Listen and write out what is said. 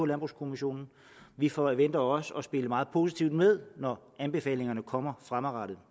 landbrugskommissionen vi forventer også at spille meget positivt med når anbefalingerne kommer fremadrettet